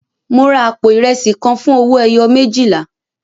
Mo ra àpò ìrẹsì kan fún owó ẹyọ méjìlá.